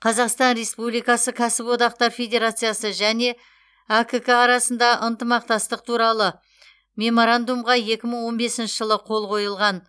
қазақстан республикасы кәсіподақтар федерациясы және әкк арасында ынтымақтастық туралы меморандумға екі мың он бесінші жылы қол қойылған